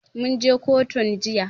Mun je kotun jiya.